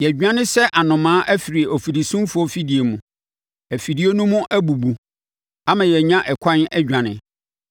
Yɛadwane sɛ anomaa afiri afirisumfoɔ afidie mu; afidie no mu abubu, ama yɛanya ɛkwan adwane.